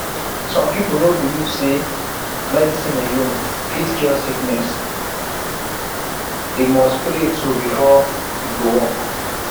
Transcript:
some people no believe say medicine alone fit cure sickness o themmust pray too before e go work